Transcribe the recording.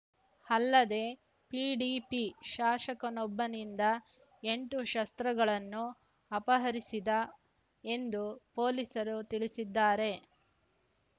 ಅಲ್ಲದೇ ಪಿಡಿಪಿ ಶಾಸಕನೊಬ್ಬನಿಂದ ಎಂಟು ಶಸ್ತ್ರಗಳನ್ನು ಅಪಹರಿಸಿದ್ದ ಎಂದು ಪೊಲೀಸರು ತಿಳಿಸಿದ್ದಾರೆ